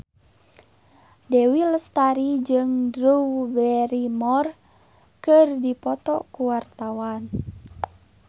Dewi Lestari jeung Drew Barrymore keur dipoto ku wartawan